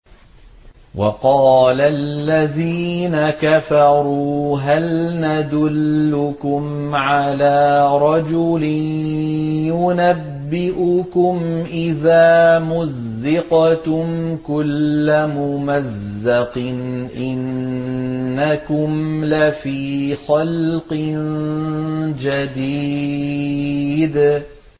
وَقَالَ الَّذِينَ كَفَرُوا هَلْ نَدُلُّكُمْ عَلَىٰ رَجُلٍ يُنَبِّئُكُمْ إِذَا مُزِّقْتُمْ كُلَّ مُمَزَّقٍ إِنَّكُمْ لَفِي خَلْقٍ جَدِيدٍ